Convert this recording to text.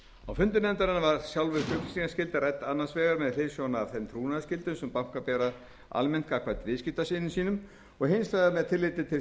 á fundum nefndarinnar var sjálfvirk upplýsingaskylda rædd annars vegar með hliðsjón af þeim trúnaðarskyldum sem bankar bera almennt gagnvart viðskiptavinum sínum og hins vegar með tilliti til